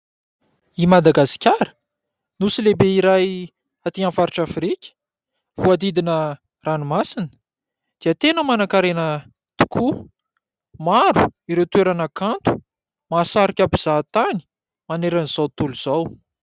I Madagasikara : nosy lehibe iray aty amin'ny faritra Afrika, voadidina ranomasina dia tena manankarena tokoa. Maro ireo toerana kanto mahasarika mpizaha tany manerana an'izao tontolo izao.